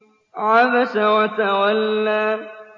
عَبَسَ وَتَوَلَّىٰ